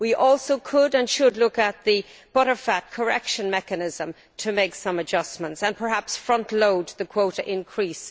We also could and should look at the butterfat correction mechanism to make some adjustments and perhaps frontload the quota increase.